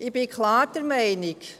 Ich bin klar der Meinung: